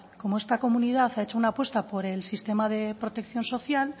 como esta comunidad ha hecho una apuesta por el sistema de protección social